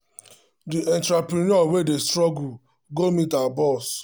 the entrepreneur wey dey struggle go meet her boss ask for one-time advance from her next salary.